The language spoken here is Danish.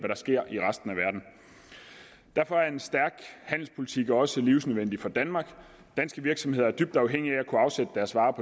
der sker i resten af verden derfor er en stærk handelspolitik også livsnødvendig for danmark danske virksomheder er dybt afhængige af at kunne afsætte deres varer